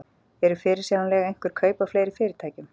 Eru fyrirsjáanleg einhver kaup á fleiri fyrirtækjum?